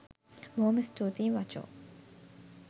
බොහොම ස්තුතියි මචො